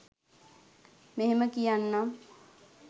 මෙහෙම කියන්නම්.